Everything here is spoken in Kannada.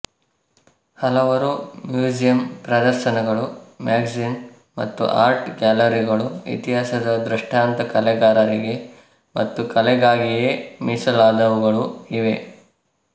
ಹಲವಾರು ಮ್ಯೂಸಿಯಮ್ ಪ್ರದರ್ಶನಗಳು ಮ್ಯಾಗಜಿನ್ ಮತ್ತು ಆರ್ಟ್ ಗ್ಯಾಲರಿಗಳು ಇತಿಹಾಸದ ದ್ರಷ್ಟಾಂತ ಕಲೆಗಾರರಿಗೆ ಮತ್ತು ಕಲೆಗಾಗಿಯೇ ಮೀಸಲಾದವುಗಳು ಇವೆ